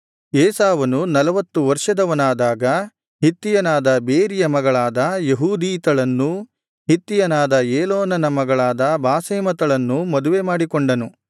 ಏಸಾವನು ನಲವತ್ತು ವರ್ಷದವನಾದಾಗ ಹಿತ್ತಿಯನಾದ ಬೇರಿಯ ಮಗಳಾದ ಯೆಹೂದೀತಳನ್ನೂ ಹಿತ್ತಿಯನಾದ ಏಲೋನನ ಮಗಳಾದ ಬಾಸೆಮತಳನ್ನೂ ಮದುವೆ ಮಾಡಿಕೊಂಡನು